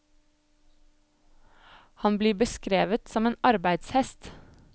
Han blir beskrevet som en arbeidshest.